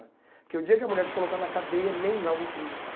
Porque o dia que a mulher te colocar na cadeia, nem lá eu vou te visitar.